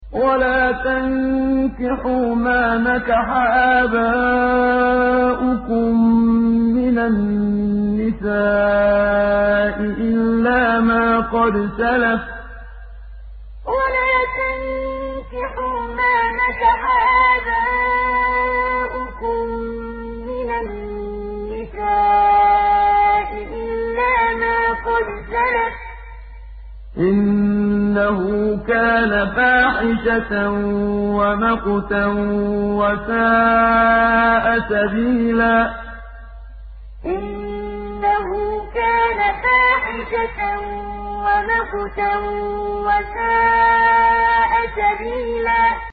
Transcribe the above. وَلَا تَنكِحُوا مَا نَكَحَ آبَاؤُكُم مِّنَ النِّسَاءِ إِلَّا مَا قَدْ سَلَفَ ۚ إِنَّهُ كَانَ فَاحِشَةً وَمَقْتًا وَسَاءَ سَبِيلًا وَلَا تَنكِحُوا مَا نَكَحَ آبَاؤُكُم مِّنَ النِّسَاءِ إِلَّا مَا قَدْ سَلَفَ ۚ إِنَّهُ كَانَ فَاحِشَةً وَمَقْتًا وَسَاءَ سَبِيلًا